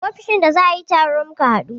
A ofishin da za a yi taro muka haɗu